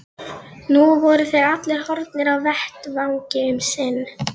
Nú voru þeir allir horfnir af vettvangi um sinn.